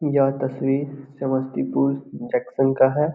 यह तस्वीर समस्तीपुर जंक्शन का है।